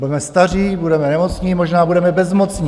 Budeme staří, budeme nemocní, možná budeme bezmocní.